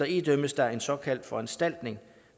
idømmes der en såkaldt foranstaltning